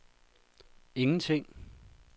ingenting